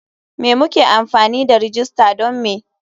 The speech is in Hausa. Me muke amfani da rajista don me?